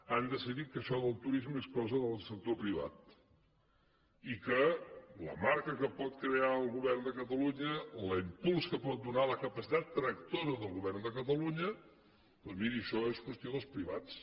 han decidit que això del turisme és cosa del sector privat i que la marca que pot crear el govern de catalunya l’impuls que pot donar la capacitat tractora del govern de catalunya doncs miri això és qüestió dels privats